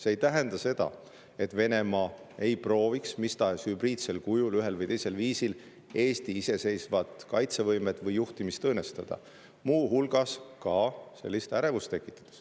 See ei tähenda seda, et Venemaa ei prooviks mis tahes hübriidsel kujul ühel või teisel viisil Eesti iseseisvat kaitsevõimet või juhtimist õõnestada, muu hulgas sellist ärevust tekitades.